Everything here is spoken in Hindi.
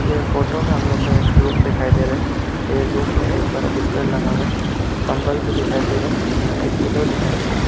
ये फोटो में हम लोग को एक रूम दिखाई दे रहा है यह रूम में एक बड़ा बिस्तर लगा हुआ है कंबल भी दिखाई दे रहा है एक पिलो दिखाई दे रहा है।